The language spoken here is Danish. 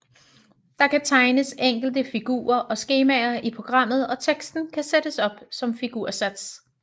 Der kan tegnes enkle figurer og skemaer i programmet og teksten kan sættes op som figursats